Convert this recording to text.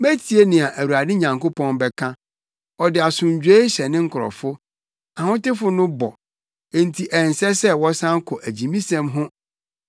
Metie nea Awurade Nyankopɔn bɛka; ɔde asomdwoe hyɛ ne nkurɔfo, ahotefo no bɔ, enti ɛnsɛ sɛ wɔsan kɔ agyimisɛm ho.